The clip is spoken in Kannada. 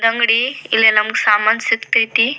ಅಂಗಡಿ ಇಲ್ಲಿ ನಮಗೆ ಸಾಮಾನ್ ಸಿಕ್ತಾಯಿತಿ.